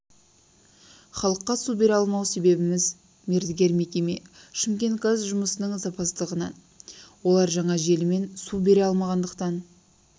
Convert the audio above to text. халыққа су бере алмау себебіміз мердігер мекеме шымкент газ жұмысының сапасыздығынан олар жаңа желімен су бере алмағандықтан